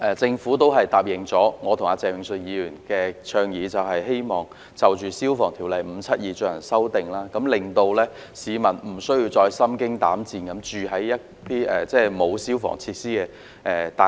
政府亦最終答應我和鄭泳舜議員的倡議，就《消防安全條例》進行修訂，令市民無需再心驚膽顫地居於沒有消防設施的大廈。